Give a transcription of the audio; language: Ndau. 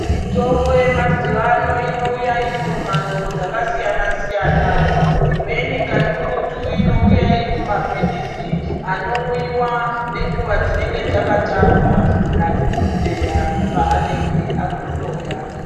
Mitombo yemazuwano inouya iri mumhando dzakasiyana-siyana. Imweni kakurutu inouya iri mumaphilisi, anomwiwa nenguwa dzinenge dzakatarwa nadhokodheya panenge akuhloya.